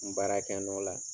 N baarakɛ nɔ la.